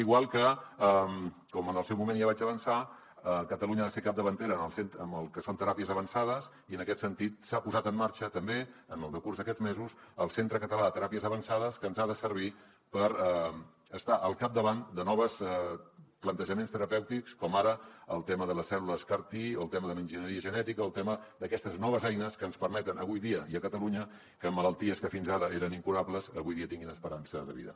igual que com en el seu moment ja vaig avançar catalunya ha de ser capdavantera en el que són teràpies avançades i en aquest sentit s’ha posat en marxa també en el decurs d’aquests mesos el centre català de teràpies avançades que ens ha de servir per estar al capdavant de nous plantejaments terapèutics com ara el tema de les cèl·lules car t o el tema de l’enginyeria genètica o el tema d’aquestes noves eines que ens permeten avui dia i a catalunya que malalties que fins ara eren incurables avui dia tinguin esperança de vida